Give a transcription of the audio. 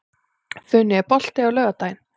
Funi, er bolti á laugardaginn?